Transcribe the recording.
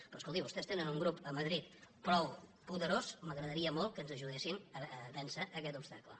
però escolti vostès tenen un grup a madrid prou poderós m’agradaria molt que ens aju·dessin a vèncer aquest obstacle